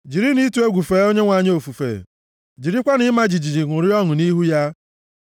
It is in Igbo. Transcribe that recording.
Jirinụ ịtụ egwu fee Onyenwe anyị ofufe; jirikwanụ ịma jijiji ṅụrịa ọṅụ nʼihu ya.